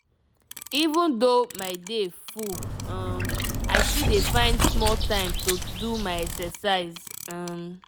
even though my day full um i still dey find small time do my exercise. um